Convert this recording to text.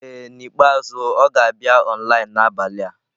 Ee N'ikpeazụ ọ ga-abịa online n'abalị a.